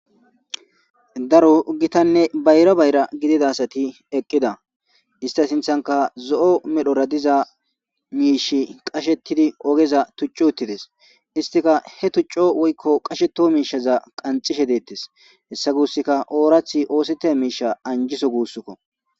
Daro hgitanne bayra bayra gididasati eqqida ista sinthanka zo7o medhora diza miishi qashettidi ogeza tuccu uttides istika he tucco woykko qasheto miishaza qanxishe deettes hessa guusska oorathi oosite miisha anjiso guussukko.